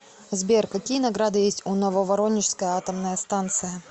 сбер какие награды есть у нововоронежская атомная станция